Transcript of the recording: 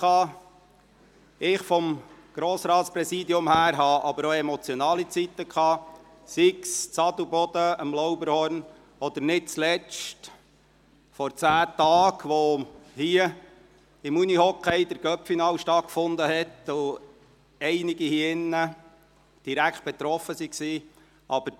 Im Rahmen des Grossratspräsidiums erlebte ich aber auch emotionale Zeiten, sei es in Adelboden, am Lauberhorn-Rennen, sei es nicht zuletzt, als vor zehn Tagen hier der Unihockey-Cup-Final stattfand, wovon einige von Ihnen betroffen waren.